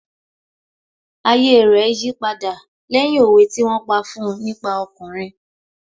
Ayé rẹ̀ yí padà lẹ́yìn òwe tí wón pa fún un nípa ọkùnrin